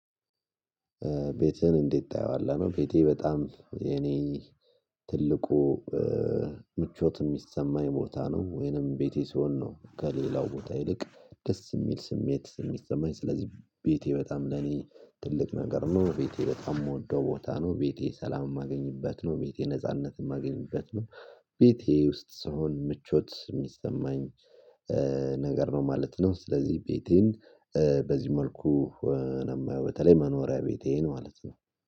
ቤትህን እንዴት ታየዋለህ ነው? ቤቴ በጣም የኔ ትልቁ ምቾት ሚሰማኝ ቦታ ነው። ወይንም ቤቴ ስሆን ነው። ከሌላው ቦታ ይልቅ ደስ የሚል ስሜት የሚሰማኝ ስለዚህ ቤቴ በጣም ለኔ ትልቅ ነገር ነው። ቤቴ በጣም ምወደው ቦታ ነው። ቤቴ ሰላም የማገኝበት ነው። ቤቴ ነጻነት የማገኝበት ነው። ቤቴ ውስጥ ስሆን ምቾት የሚሰማኝ ነገር ነው ማለት ነው። ስለዚህ ቤቴን በዚህ መልኩ ነው የማየው በተለይ መኖሪያ ቤቴን ማለት ነው